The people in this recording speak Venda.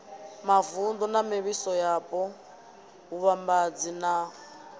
mavunḓu na mivhusoyapo vhuvhambadzi na